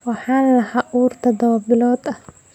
Waxaan lahaa uur todoba bilood ah.